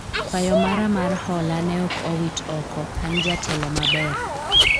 kwayo mara mar hola ne ok owit oko, an jatelo maber